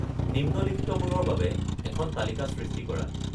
নিম্নলিখিতবোৰৰ বাবে এখন তালিকা সৃষ্টি কৰা